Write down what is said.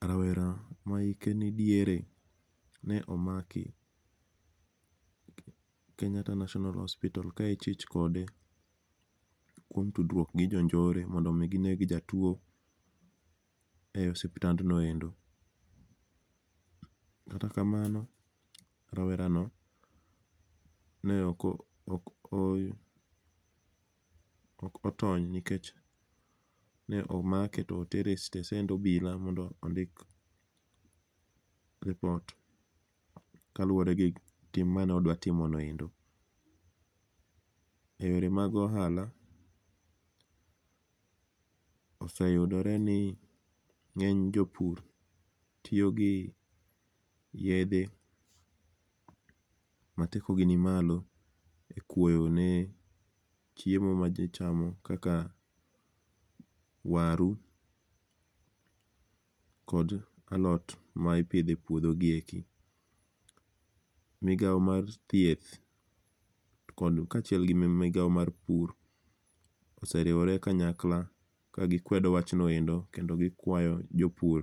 Rawera ma hike ni diere ne omaki Kenyatta National Hospital, ka ichich kode kuom tudruok gi jonjore mondo omi gineg jatwo e osiptandnoendo. Kata kamano rawera no, ne ok o ok otony nikech ne omake to otere e stesend obila mondo ondik lipot kaluwore gi tim mane odwa timo noendo. E yore mag ohala, oseyudore ni ngény jopur tiyogi yiedhe mateko gi ni malo, e kwoyo ne chiemo ma ji chamo, kaka waru kod alot ma ipidho e puodho gi eki. Migao mar thieth kod kachiel gi migao mar pur oseriwore kanyakla ka gikwedo wachno endo, kendo gikwayo jopur